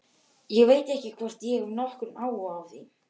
Ég veit ekki hvort ég hef nokkurn áhuga á því.